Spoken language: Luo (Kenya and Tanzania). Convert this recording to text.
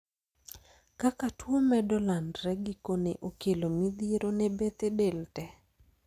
Kaka tuo medo landre, gikone okelo midhiero ne bethe del tee.